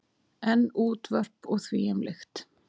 En útvörp og þvíumlíkt.